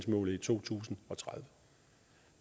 målet i to tusind og tredive